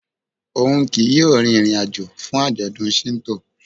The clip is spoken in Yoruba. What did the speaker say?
Oun kii yóò rin irin-ajo fun ajọdun Shinto.